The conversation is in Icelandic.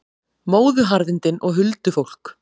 Móðuharðindin og huldufólk